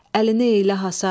Əlini elə hasar.